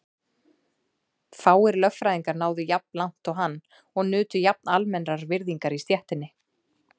Fáir lögfræðingar náðu jafn langt og hann og nutu jafn almennrar virðingar í stéttinni.